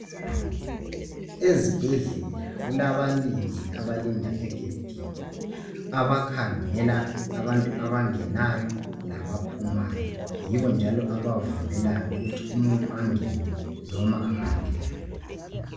Ezibhedlela kulabalindi abalinda egedini. Abakhangela abantu abangenayo, labaphumayo. Yibo njalo abavumelayo ukuthi umuntu angene, noma engangeni.